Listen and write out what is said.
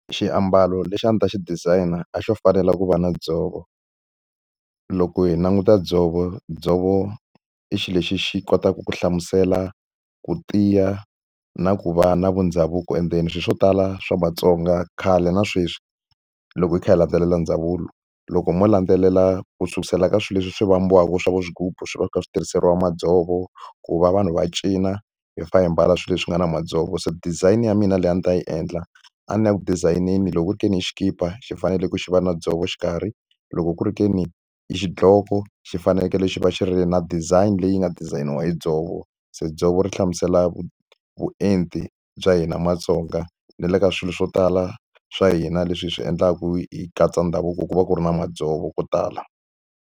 Xiambalo lexi a ndzi ta xi designer a xo fanela ku va na dzovo. Loko hi languta dzovo, dzovo i xilo lexi xi kotaka ku hlamusela ku tiya na ku va na vundhavuko endzeni. Swilo swo tala swa Matsonga khale na sweswi loko hi kha hi landzelela ndhavuko, loko mo landzelela ku sukela ka swilo leswi hi swi vambiwa eka swa vo swigubu swi va swi kha swi tirhiseriwa madzovo, ku va vanhu va cina hi fanele hi ambala swilo leswi nga na madzovo. Se design ya mina leyi a ndzi ta yi endla, a ni yaku design-neni loko ku ri ke ni i xikipa xi fanele ku xi va na dzovo xikarhi, loko ku ri ke ni i xidloko xi fanekele xi va xi ri na design leyi nga dizayiniwa hi dzovo. Se dzovo ri hlamusela vuenti bya hina Matsonga, ni le ka swilo swo tala swa hina leswi hi swi endlaku hi katsa ndhavuko, ku va ku ri na madzovo ko tala.